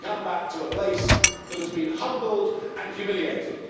I come back to a place that has been humbled and humiliated.